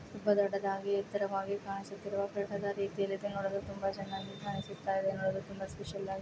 ತುಂಬ ದೊಡ್ಡದಾಗಿ ಎತ್ತರವಾಗಿ ಕಾಣಿಸುತ್ತಿರುವ ತುಂಬ ಚೆನ್ನಾಗಿ ಕಾಣಿಸುತ್ತ ಇದೆ ನೋಡಲು ಸ್ಪೆಷಲ್ ಆಗಿ --